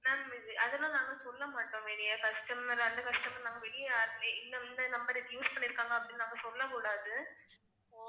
Ma'am அதெல்லாம் நாங்க சொல்ல மாட்டோம் வெளியே customer அந்தக் customer நாங்க வெளியே யார்கிட்டயும் இந்த இந்த number use பண்ணி இருக்காங்க அப்படின்னு நாங்க சொல்லக் கூடாது